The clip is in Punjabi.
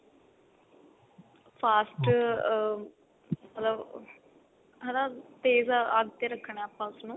fast ਅਹ ਮਤਲਬ ਹਨਾ ਤੇਜ਼ ਅੱਗ ਤੇ ਰੱਖਣਾ ਉਹਨੂੰ